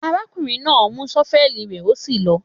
Àrákúnrìn nà mú sọfẹli rẹ, òsí lọ.